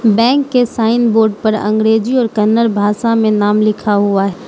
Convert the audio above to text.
bank के sign board पर अंग्रेजी और कनण भाषा में नाम लिखा हुआ --